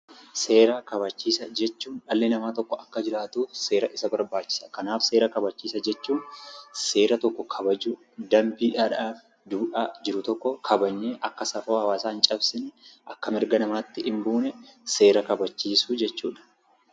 Seera kabachiisaa jechuun dhalli namaa tokko akka jiraatuuf seera isa barbaachisa. Kanaaf seera kabachiisaa jechuun danbiidhaan buluu, duudhaa kabajanee akka safuu hawwaasaa hin cabsine, akka mirga namaatti hin buunee gochuu jechuu dha.